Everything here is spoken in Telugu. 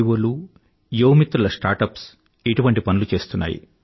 వోలు యువ మిత్రుల స్టార్ట్ అప్స్ ఇటువంటి పనులు చేస్తున్నాయి